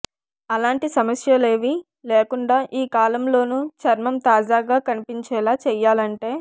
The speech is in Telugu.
అలాంటి సమస్యలేవీ లేకుండా ఈ కాలంలోనూ చర్మం తాజాగా కనిపించేలా చేయాలంటే